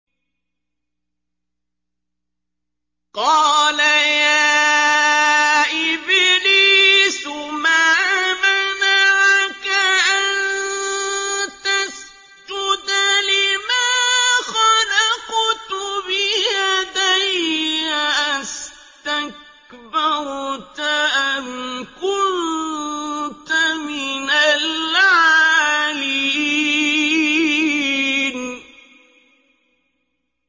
قَالَ يَا إِبْلِيسُ مَا مَنَعَكَ أَن تَسْجُدَ لِمَا خَلَقْتُ بِيَدَيَّ ۖ أَسْتَكْبَرْتَ أَمْ كُنتَ مِنَ الْعَالِينَ